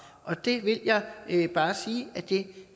og det vil jeg bare sige at vi